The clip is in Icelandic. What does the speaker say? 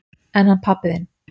En hann pabbi þinn?